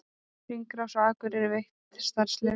Hringrás á Akureyri veitt starfsleyfi